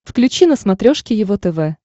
включи на смотрешке его тв